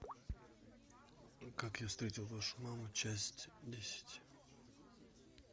как я встретил вашу маму часть десять